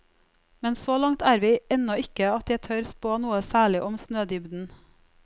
Men så langt er vi ennå ikke at jeg tør spå noe særlig om snødybden.